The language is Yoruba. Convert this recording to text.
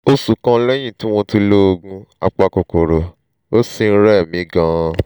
oṣù kan lẹ́yìn tí mo ti lo oògùn apakòkòrò àrùn ó ṣì ń rẹ̀ mí gan-an